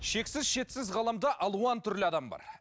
шексіз шетсіз ғаламда алуан түрлі адам бар